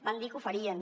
van dir que ho farien